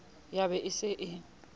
ya ba e se e